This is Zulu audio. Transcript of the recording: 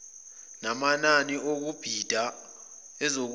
namanani okubhida azokufundwa